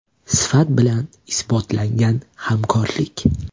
Sifat bilan isbotlangan hamkorlik.